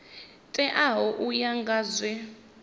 teaho u ya nga zwe